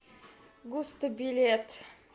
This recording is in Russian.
густо билет